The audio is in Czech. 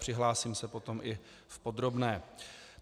Přihlásím se potom i v podrobné.